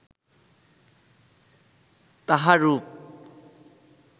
তাঁহার রূপ